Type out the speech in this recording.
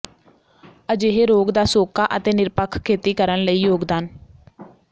ਅਜਿਹੇ ਰੋਗ ਦਾ ਸੋਕਾ ਅਤੇ ਨਿਰਪੱਖ ਖੇਤੀ ਕਰਨ ਲਈ ਯੋਗਦਾਨ